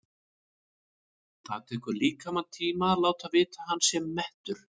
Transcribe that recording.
Það tekur líkamann tíma að láta vita að hann sé mettur.